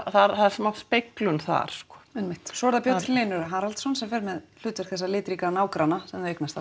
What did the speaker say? það er smá speglun þar einmitt svo er það Björn Hlynur Haraldsson sem fer með hlutverk þessa litríka nágranna sem þau eignast